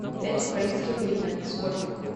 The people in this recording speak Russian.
пять украинских гривен сколько